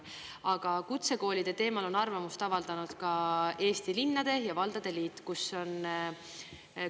Aga kutsekoolide teemal on arvamust avaldanud ka Eesti Linnade ja Valdade Liit, kus on tehtud ka mitmeid märkusi ja ettepanekuid.